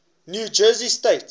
new jersey state